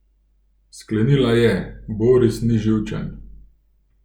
Sklenila je: 'Boris ni živčen.